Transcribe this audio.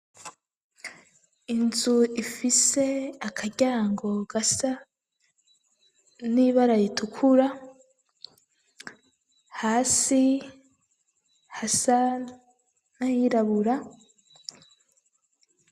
Inzu ifise akaryango gasa n'ibara raitukura hasi hasa nahirabura